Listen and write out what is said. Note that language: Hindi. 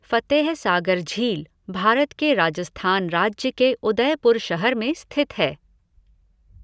फ़तेह सागर झील भारत के राजस्थान राज्य के उदयपुर शहर में स्थित है।